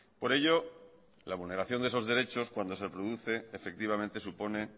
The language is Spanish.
por ello la vulneración de esos derechos cuando se produce efectivamente supone